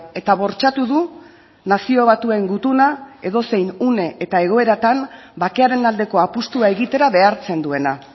eta bortxatu du nazio batuen gutuna edozein une eta egoeratan bakearen aldeko apustua egitera behartzen duena